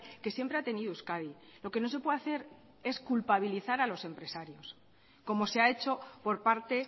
que siempre ha tenido euskadi lo que no se puede hacer es culpabilizar a los empresarios como se hahecho por parte